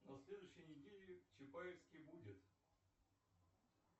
на следующей неделе в чапаевске будет